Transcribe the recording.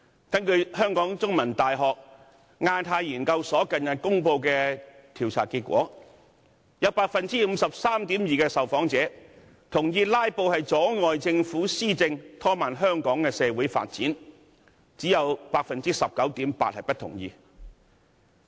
根據香港中文大學亞太研究所近日公布的調查結果，有 53.2% 受訪者同意"拉布"阻礙政府施政，拖慢香港的社會發展，只有 19.8% 受訪者不同意。